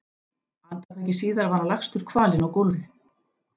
Andartaki síðar var hann lagstur kvalinn á gólfið.